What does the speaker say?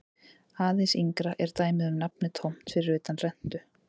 Aðeins yngra er dæmið um nafnið tómt fyrir utan rentu.